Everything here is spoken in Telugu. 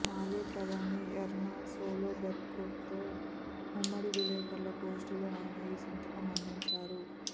నార్వే ప్రధాని ఎర్నా సోల్ బెర్గ్తో ఉమ్మడి విలేకరుల గోష్టిలో ఆయన ఈ సంకేతం అందించారు